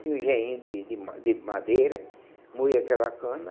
Tinha um engeinho de de de madeira, moía aquela cana